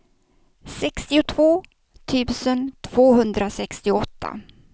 sextiotvå tusen tvåhundrasextioåtta